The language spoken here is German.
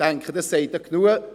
Ich denke, das sagt genug.